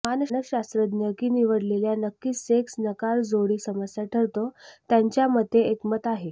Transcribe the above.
मानसशास्त्रज्ञ की निवडलेल्या नक्कीच सेक्स नकार जोडी समस्या ठरतो त्यांच्या मते एकमत आहे